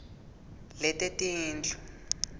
letetindlu